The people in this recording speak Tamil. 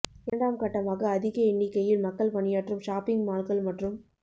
இரண்டாம் கட்டமாக அதிக எண்ணிக்கையில் மக்கள் பணியாற்றும் ஷாப்பிங் மால்கள் மற்றும்